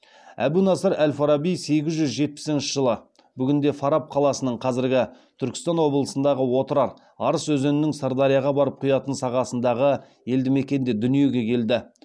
әбу насыр әл фараби сегіз жүз жетпісінші жылы бүгінде фараб қаласының арыс өзенінің сырдарияға барып құятын сағасындағы елді мекенде дүниеге келді